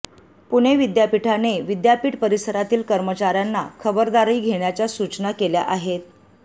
पुणे विद्यापीठाने विद्यापीठ परिसरातील कर्मचाऱ्यांना खबरदारी घेण्याच्या सूचना केल्या आहेत